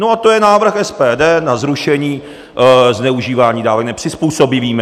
No a to je návrh SPD na zrušení zneužívání dávek nepřizpůsobivými.